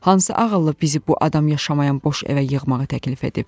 Hansı ağıllı bizi bu adam yaşamayan boş evə yığmağı təklif edib?